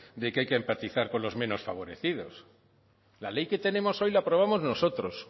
de que hay que practicar con los menos favorecidos la ley que tenemos hoy la aprobamos nosotros